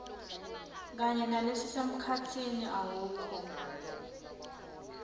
kanye nalelisemkhatsini awukho